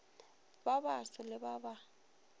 ba baso le ba ba